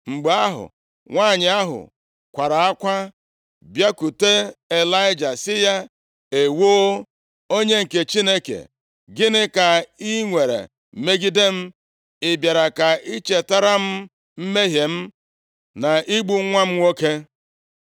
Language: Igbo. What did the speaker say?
Mgbe ahụ, nwanyị ahụ kwaara akwa bịakwute Ịlaịja sị ya, “Ewoo, onye nke Chineke, gịnị ka i nwere megide m? Ị bịara ka i chetara m mmehie m, na igbu nwa m nwoke?”